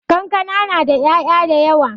Kankana na da 'ya'ya dayawa.